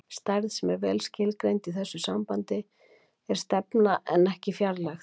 stærð sem er vel skilgreind í þessu sambandi er stefna en ekki fjarlægð